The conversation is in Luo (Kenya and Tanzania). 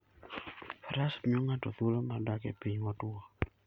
Faras miyo ng'ato thuolo mar dak e piny motwo.